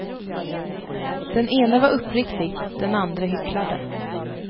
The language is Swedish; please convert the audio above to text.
Den ene var uppriktig, den andre hycklade.